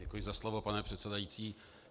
Děkuji za slovo, pane předsedající.